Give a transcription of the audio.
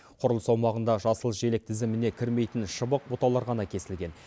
құрылыс аумағында жасыл желек тізіміне кірмейтін шыбық бұталар ғана кесілген